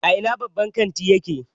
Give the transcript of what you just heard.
A ina babban kantin yake?